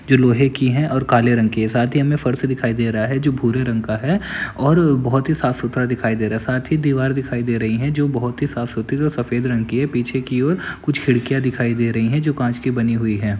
जो लोहे की हैं और काले रंग की हैं साथ ही हमे फर्श दिखाई दे रहा है जो भूरे रंग का है और बहुत ही साफ सुथरा दिखाई रहा है साथ ही दिवार दिखाई दे रही है जो बहुत ही साफ सुथरी और सफेद रंग की है पीछे की ओर कुछ खिड़कियॉ दिखाई दे रही जो कॉच की बनी हुई हैं।